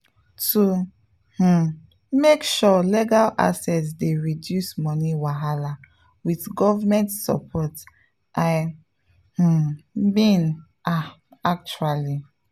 to um make sure legal access dey reduce money wahala with government support i um mean ah actually.